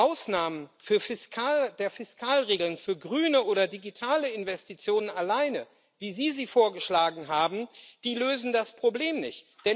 Ausnahmen der Fiskalregeln für grüne oder digitale Investitionen alleine, wie Sie sie vorgeschlagen haben, lösen das Problem nicht.